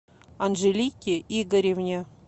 анжелике игоревне